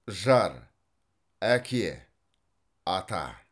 жар әке ата